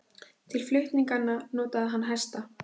Til flutninganna notaði hann hesta.